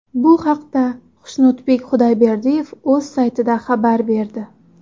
Bu haqda Xushnudbek Xudoyberdiyev o‘z saytida xabar berdi .